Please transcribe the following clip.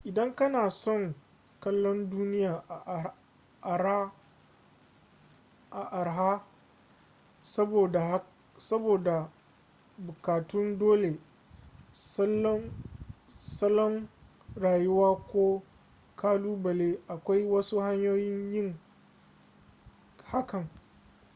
idan kana son kallon duniya a araha saboda bukatun dole salon rayuwa ko kalubale akwai wasu hanyoyin yin hakan